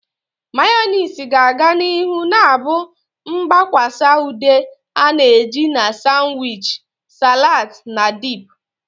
Mayonezi ga-aga n'ihu na-abụ mgbakwasa ude a na-eji na sanwichi, salads, na dip.